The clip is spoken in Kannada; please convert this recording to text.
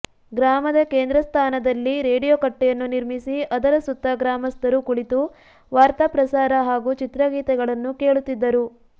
ಗ್ರಾಮದ ಕೇಂದ್ರಸ್ಥಾನದಲ್ಲಿ ್ಲ ರೇಡಿಯೋ ಕಟ್ಟೆಯನ್ನು ನಿರ್ಮಿಸಿ ಅದರ ಸುತ್ತ ಗ್ರಾಮಸ್ಥರು ಕುಳಿತು ವಾರ್ತಾ ಪ್ರಸಾರ ಹಾಗೂ ಚಿತ್ರಗೀತೆಗಳನ್ನು ಕೇಳುತ್ತಿದ್ದರು